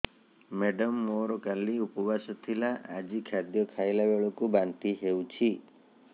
madam ମୋର କାଲି ଉପବାସ ଥିଲା ଆଜି ଖାଦ୍ୟ ଖାଇଲା ବେଳକୁ ବାନ୍ତି ହେଊଛି